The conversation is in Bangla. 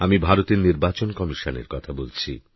আমি ভারতের নির্বাচন কমিশনের কথা বলছি